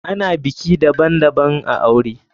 Ana biki daban daban a aure.